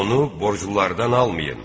Onu borclulardan almayın.